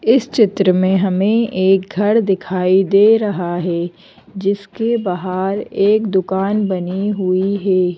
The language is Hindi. इस चित्र में हमें एक घर दिखाई दे रहा है जिसके बाहर एक दुकान बनी हुई है।